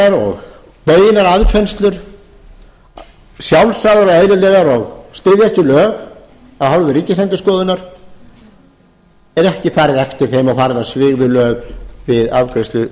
ábendingar og beinar aðfinnslur sjálfsagðar og eðlilegar og styðjast við lög af hálfu ríkisendurskoðunar er ekki farið eftir þeim og farið á svig við lög við afgreiðslu